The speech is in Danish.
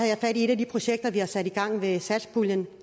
jeg fat i et af de projekter vi har sat i gang med satspuljen